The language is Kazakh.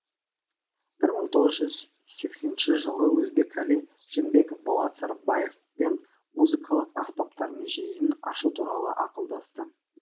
бір мың тоғыз жүз сексенінші жылы өзбекәлі жәнібеков болат сарыбаевпен музыкалық аспаптар музейін ашу туралы ақылдасты